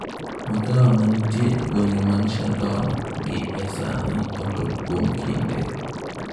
Magawa ma nitie e gwenge mag Shandong gi e sani olor kuom kinde.